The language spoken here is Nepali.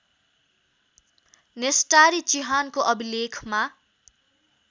नेस्टारी चिहानको अभिलेखमा